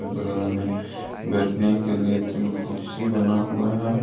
बगल में बैठने के लिए तीन कुर्सी बना हुआ है।